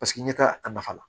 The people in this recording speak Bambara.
Paseke ɲɛtaa a nafa la